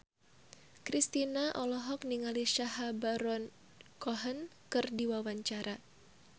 Kristina olohok ningali Sacha Baron Cohen keur diwawancara